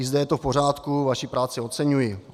I zde je to v pořádku, vaši práci oceňuji.